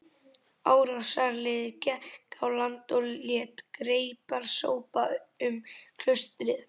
Árásarliðið gekk á land og lét greipar sópa um klaustrið.